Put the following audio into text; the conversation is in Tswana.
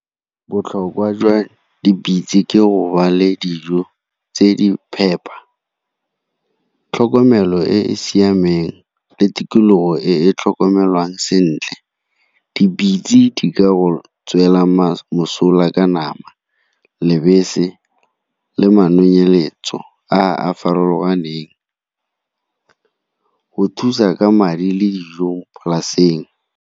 Botlhokwa jwa dipitse ke go ba le dijo tse di phepa, tlhokomelo e e siameng le tikologo e e tlhokomelwang sentle. Dipitse di ka go tswela mosola ka nama, lebese le a a farologaneng, go thusa ka madi le dijo polaseng.